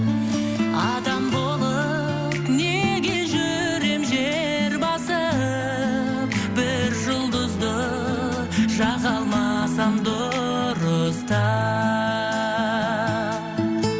адам болып неге жүрем жер басып бір жұлдызды жаға алмасам дұрыстап